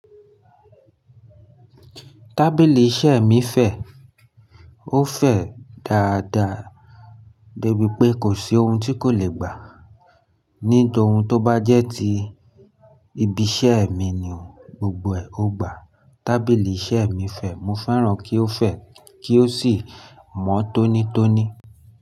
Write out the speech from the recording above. Tábìlì iṣẹ́ mi fẹ̀. Ó fẹ̀ dáadáa débi pé kò sí oun tí kò lè gbà. Ní toun tó bá jẹ́ ti ibi iṣẹ́ mi ni òun, gbogbo ẹ̀ ó gbà. Tábìlì iṣẹ́ mi fẹ̀. Mo fẹ́ràn kí ó fẹ̀ kí ó sì mọ́ tónítóní.